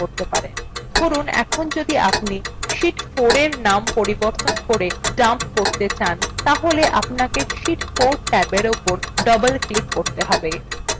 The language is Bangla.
ধরুন এখন যদি আপনি sheet 4এর নাম বদলে dump করতে চান তাহলে আপনাকে sheet 4 ট্যাবের উপর double ক্লিক করুন